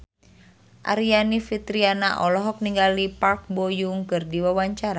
Aryani Fitriana olohok ningali Park Bo Yung keur diwawancara